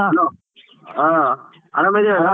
Hello ಹಾ ಅರಾಮಿದ್ಯೇನಣ್ಣ?